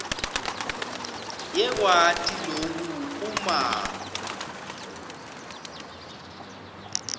yakwati loku uma